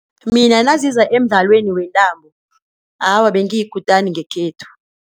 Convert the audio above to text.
Mina naziza emdlalweni wentambo, awa bengiyikutani ngekhethu.